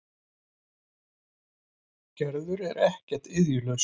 Gerður er þó ekki iðjulaus.